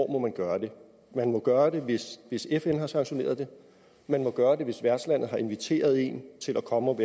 må gøre det man må gøre det hvis hvis fn har sanktioneret det man må gøre det hvis værtslandet har inviteret en til at komme og